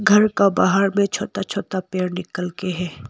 घर का बाहर में छोटा छोटा पेड़ निकल के है।